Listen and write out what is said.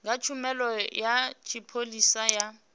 kha tshumelo ya tshipholisa ya